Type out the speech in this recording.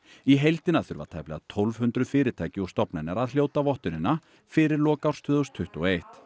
í heildina þurfa tæplega tólf hundruð fyrirtæki og stofnanir að hljóta vottunina fyrir lok árs tvö þúsund tuttugu og eitt